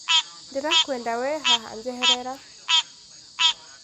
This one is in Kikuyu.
Ndirakwenda wee haha njeherera